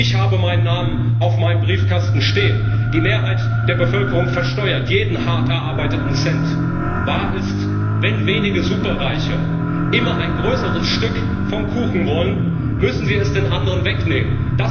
Ich habe meinen Namen auf meinem Briefkasten stehen. Die Mehrheit der Bevölkerung versteuert jeden hart erarbeiteten Cent. Wahr ist Wenn wenige Superreiche ein immer größeres Stück vom Kuchen wollen, müssen sie es den anderen wegnehmen.